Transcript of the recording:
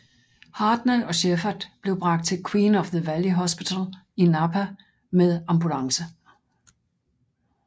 Hartnell og Shepard blev bragt til Queen of the Valley Hospital i Napa med ambulance